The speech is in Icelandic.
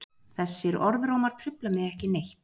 Þessir orðrómar trufla mig ekki neitt.